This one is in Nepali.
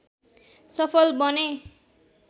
सफल बने